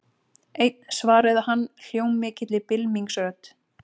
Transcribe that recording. Einn svaraði hann hljómmikilli bylmingsrödd.